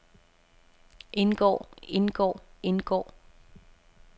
indgår indgår indgår